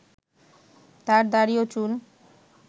তার দাড়ি ও চুল